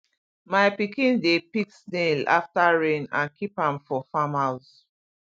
my pikin dey pick snail after rain and keep am for farm use